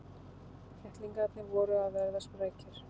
Kettlingarnir voru að verða sprækir.